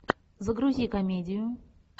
загрузи комедию